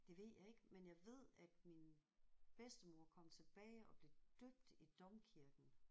Det ved jeg ikke men jeg ved at min bedstemor kom tilbage og blev døbt i domkirken